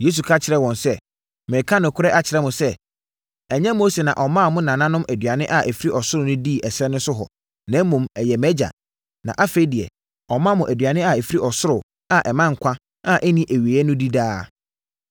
Yesu ka kyerɛɛ wɔn sɛ, “Mereka nokorɛ akyerɛ mo sɛ, ɛnyɛ Mose na ɔmaa mo nananom aduane a ɛfiri ɔsoro no dii ɛserɛ so hɔ no na mmom, ɛyɛ mʼAgya. Na afei deɛ, ɔma mo aduane a ɛfiri ɔsoro a ɛma nkwa a ɛnni awieeɛ no di daa.